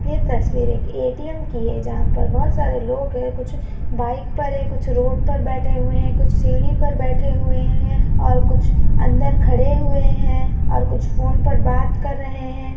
ये तस्वीर एक ए_टी_एम की है जहा पर बहुत सारे लोग है कुछ बाइक पर है कुछ रोड पर बैठे हुए है कुछ सीडी पर बैठे हुए है और कुछ अंदर खड़े हुए है और कुछ फोन पर बात कर रहे है।